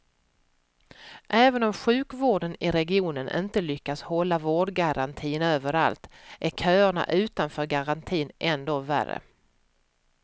Även om sjukvården i regionen inte lyckas hålla vårdgarantin överallt, är köerna utanför garantin ändå värre.